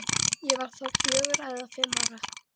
Ég var þá fjögurra eða fimm ára.